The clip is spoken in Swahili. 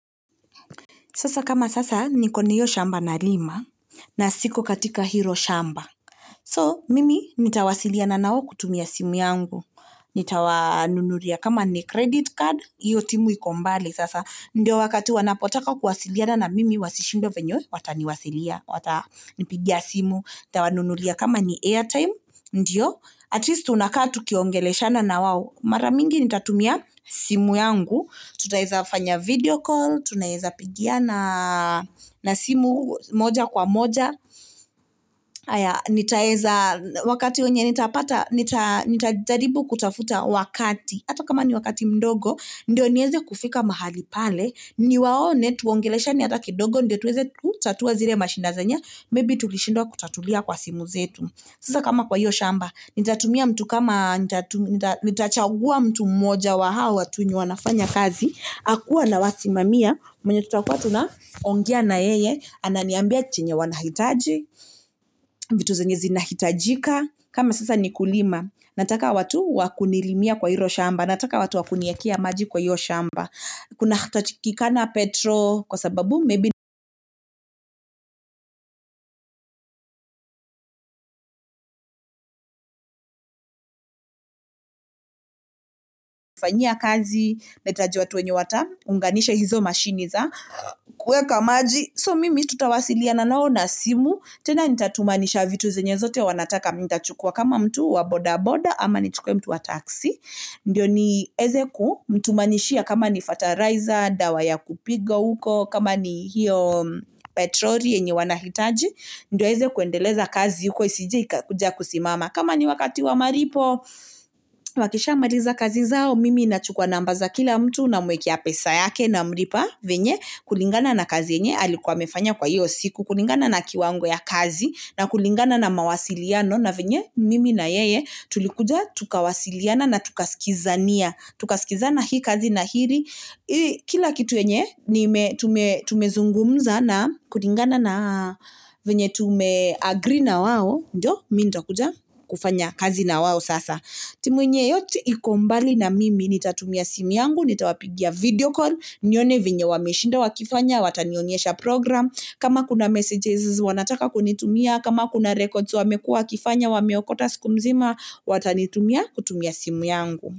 Sasa kama sasa niko na hio shamba nalima na siko katika hilo shamba. So mimi nitawasiliana nao kutumia simu yangu. Nitawanunulia kama ni credit card, hio timu iko mbali sasa. Ndio wakati wanapotaka kuwasiliana na mimi wasi shindwe venye watanipigia simu. Nitawanunulia kama ni airtime, ndio. At least tunakaa tukiongeleshana na wao Mara mingi nitatumia simu yangu. Tutaweza fanya video call, tunaweza pigiana simu moja kwa moja. Nitaweza wakati nitapata, nitajaribu kutafuta wakati. Ata kama ni wakati mdogo, ndio niweze kufika mahali pale. Niwaone tuongeleshane ata kidogo, ndio tuweze kutatua zile mashida zenye Maybe tukishindwa kutatulia kwa simu zetu. Sasa kama kwa hio shamba, nitatumia mtu kama, nitachagua mtu moja wa hao watu wenye wanafanya kazi. Akuwe anawasimamia, mwenye tutakuwa tunaongea na yeye. Ananiambia chenye wanahitaji, vitu zenye zinahitajika. Kama sasa ni kulima, nataka watu wakunilimia kwa hilo shamba. Nataka watu wakuniekea maji kwa hio shamba. Kunatakikana petro kwa sababu. Fanyia kazi, nahitaji watu wenye wataunganisha hizo mashini za. Kuweka maji, so mimi tutawasiliana nao na simu. Tena nita tumanisha vitu zenye zote wanataka. Nitachukua kama mtu wa boda boda, ama ni tuchukue mtu wa taxi. Ndio niweze kumtumanishia kama ni fertilizer, dawa ya kupiga uko. Kama ni hio petroli yenye wanahitaji. Ndio waweze kuendeleza kazi, huko isije ikakuja kusimama. Kama ni wakati wa malipo, wakisha maliza kazi zao, mimi nachukua number za kila mtu namwekea pesa yake namlipa. Venye kulingana na kazi yenye, alikuwa amefanya kwa hio siku. Kulingana na kiwango ya kazi na kulingana na mawasiliano. Na venye mimi na yeye, tulikuja tukawasiliana na tukaskizania. Tukaskizana hii kazi na hili. Kila kitu yenye, tumezungumza na kulingana na venye tume agree na wao, ndio, mimi nitakuja kufanya kazi na wao sasa. Timu yenye yote iko mbali na mimi, nitatumia simu yangu. Nitawapigia video call. Nione venye wameshinda wakifanya, watanionyesha program. Kama kuna messages wanataka kunitumia, kama kuna records wamekua wakifanya, wameokota siku nzima, watanitumia kutumia simu yangu.